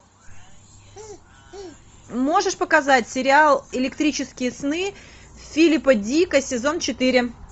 можешь показать сериал электрические сны филипа дика сезон четыре